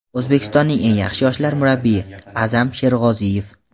"O‘zbekistonning eng yaxshi yoshlar murabbiyi" — Aʼzam Sherg‘oziyev.